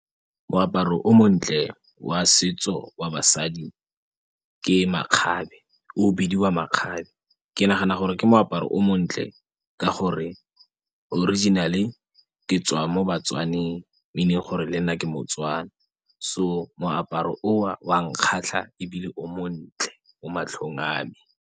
Moaparo o montle wa setso wa basadi ke makgabe o bidiwa makgabe ke nagana gore ke moaparo o montle ka gore originally ke tswa mo baTswaneng meaning gore le nna ke moTswana so moaparo owa wa nkgatlha ebile o montle o matlhong a me.